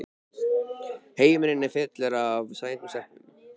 Heimurinn er fullur af sætum stelpum!